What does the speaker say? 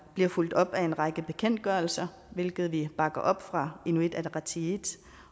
bliver fulgt op af en række bekendtgørelser hvilket vi bakker op fra inuit ataqatigiits